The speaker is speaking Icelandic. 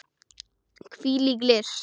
Hvílík list!